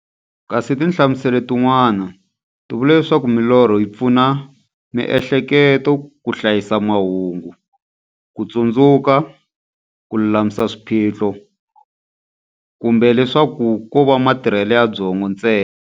Kasi tinhlamuselo ti n'wana ti vula leswaku milorho yi pfuna miehleketo ka hlayisa mahungu, kutsundzuka, kululamisa swiphiqo, kumbe leswaku kova matirhele ya byongo ntsena.